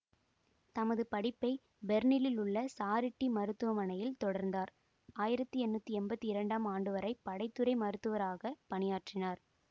தமது படிப்பை பெர்லினில் உள்ள சாரிட்டீ மருத்துவமனையில் தொடர்ந்தார் ஆயிரத்தி எண்ணூற்றி எம்பத்தி இரண்டாம் ஆண்டுவரை படை துறை மருத்துவராக பணியாற்றினார்